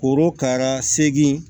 Korokara segi